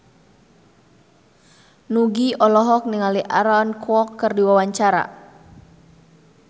Nugie olohok ningali Aaron Kwok keur diwawancara